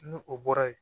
Ni o bɔra yen